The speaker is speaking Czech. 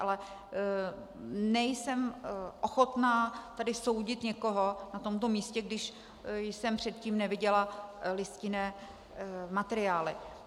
Ale nejsem ochotná tady soudit někoho na tomto místě, když jsem předtím neviděla listinné materiály.